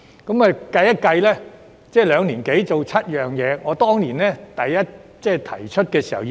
督導小組在兩年多完成7項工作，而我當年好像提出了10項建議。